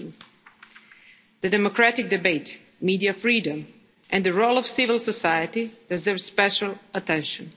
against COVID-19. The democratic debate, media freedom and the role of civil society deserves special